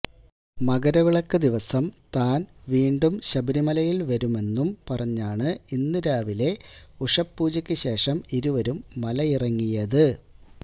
മകരവിളക്ക് ദിവസം താന് വീണ്ടും ശബരിമലയില് വരുമെന്നും പറഞ്ഞാണ് ഇന്ന് രാവിലെ ഉഷപൂജക്കു ശേഷം ഇരുവരും മലയിറങ്ങിയത്